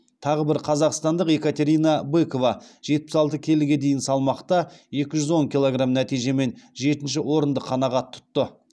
тағы бір қазақстандық екатерина быкова жетпіс алты келіге дейінгі салмақта екі жүз он килограм нәтижемен жетінші орынды қанағат тұтты